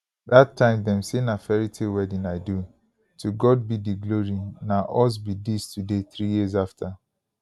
dat time dem say na fairy tale wedding i do to god be di glory na us be dis today three years afta